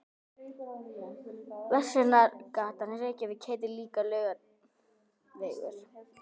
Verslunargatan í Reykjavík heitir líka Laugavegur.